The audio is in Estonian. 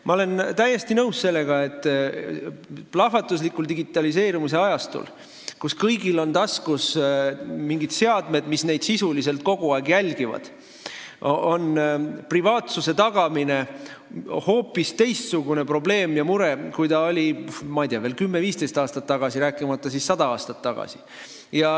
Ma olen täiesti nõus sellega, et plahvatuslikul digitaliseerumise ajastul, kui kõigil on taskus mingid seadmed, mis neid sisuliselt kogu aeg jälgivad, on privaatsuse tagamine hoopis teistsugune probleem või mure, kui see oli veel 10–15 aastat tagasi, rääkimata 100 aastat tagasi.